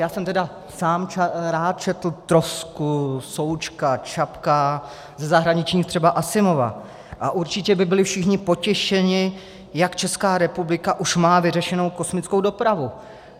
Já jsem tedy sám rád četl Trosku, Součka, Čapka, ze zahraničních třeba Asimova a určitě by byli všichni potěšeni, jak Česká republika už má vyřešenou kosmickou dopravu.